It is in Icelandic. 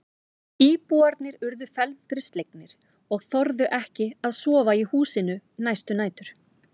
Íbúarnir urðu felmtri slegnir og þorðu ekki að sofa í húsinu næstu nætur.